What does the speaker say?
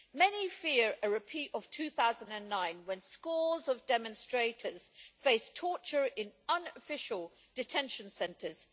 Many fear a repeat of 2009 when scores of demonstrators faced torture in unofficial detention centres.